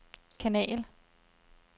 kanal